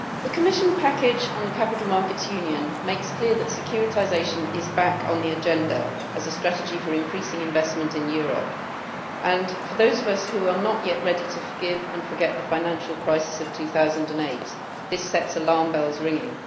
Mr President, the Commission package on the Capital Markets Union makes clear that securitisation is back on the agenda as a strategy for increasing investment in Europe and, for those of us who are not yet ready to forgive and forget the financial crisis of 2008, this sets alarm bells ringing.